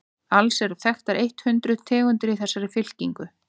alls eru þekktar eitt hundruð tegundir í þessari fylkingu